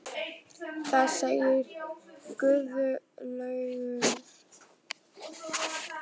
Hvað segir Guðlaugur?